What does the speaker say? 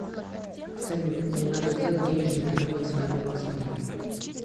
салют мне надо сделать денежный перевод своему родственнику